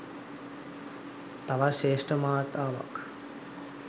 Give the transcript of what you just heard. තවත් ශ්‍රේෂ්ඨ මාතාවක්.